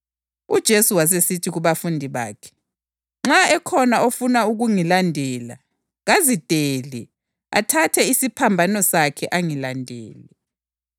Ngoba lowo ofuna ukusindisa impilo yakhe izamlahlekela kodwa lowo olahlekelwa yimpilo yakhe ngenxa yami uzayizuza.